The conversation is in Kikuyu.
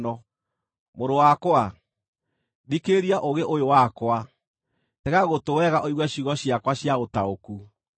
Mũrũ wakwa, thikĩrĩria ũũgĩ ũyũ wakwa, tega gũtũ wega ũigue ciugo ciakwa cia ũtaũku,